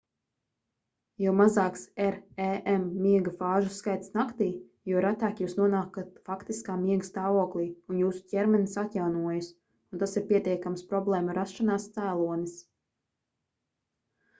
jo mazāks rem miega fāžu skaits naktī jo retāk jūs nonākat faktiskā miega stāvoklī un jūsu ķermenis atjaunojas un tas ir pietiekams problēmu rašanās cēlonis